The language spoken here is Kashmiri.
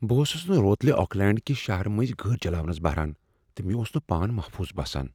بہٕ اوسس نہٕ روتلہ آکلینٛڈ کہ شہرٕ مٔنٛزِ گٲڑۍ چلاونس بہران، تہٕ مےٚ اوس نہٕ پان محفوظ باسان۔